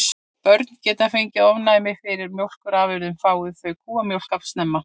Börn geta fengið ofnæmi fyrir mjólkurafurðum fái þau kúamjólk of snemma.